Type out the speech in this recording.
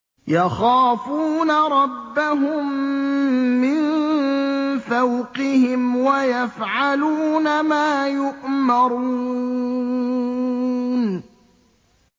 يَخَافُونَ رَبَّهُم مِّن فَوْقِهِمْ وَيَفْعَلُونَ مَا يُؤْمَرُونَ ۩